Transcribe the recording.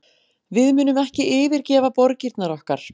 Við munum ekki yfirgefa borgirnar okkar